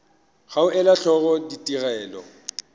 ga go ela hloko ditigelo